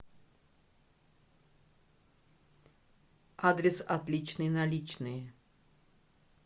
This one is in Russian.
адрес отличные наличные